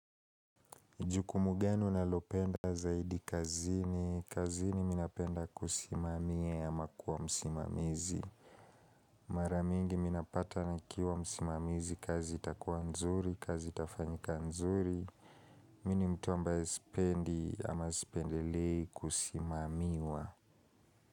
Jukumu gani unalopenda zaidi kazini. Kazini mimi napenda kusimamia ama kuwa msimamizi. Mara mingi mimi napata nikiwa msimamizi kazi itakuwa nzuri, kazi itafanyika nzuri. Mimi ni mtu ambaye sipendi ama sipendelei kusimamiwa.